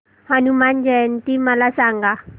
हनुमान जयंती मला सांगा